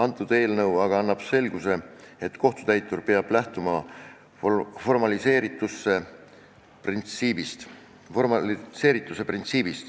Selle eelnõu eesmärk on luua selgus, et kohtutäitur peab lähtuma formaliseerituse printsiibist.